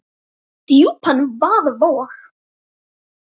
og djúpan vaða vog.